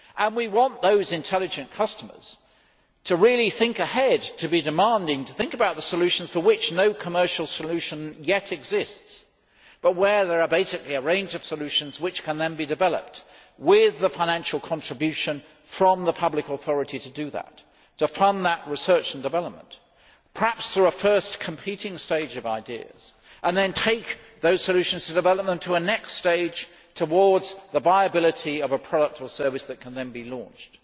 We want those intelligent customers to really think ahead, to be demanding, to think about the solutions for which no commercial solution yet exists, but where there are basically a range of solutions which can then be developed with the financial contribution from the public authority to do just that to fund research and development, perhaps through a first competing stage of ideas, and then take those development solutions to a next stage towards the viability of a product or service that can then be launched.